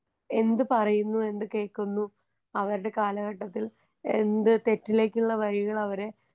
എന്ത് പറയുന്നു എന്ത് കേൾക്കുന്നൂ അവർടെ കാലഘട്ടത്തിൽ എന്ത് തെറ്റിലേക്കുള്ള വഴികളവരെ.